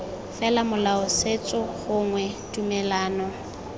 fela molao setso gongwe tumelano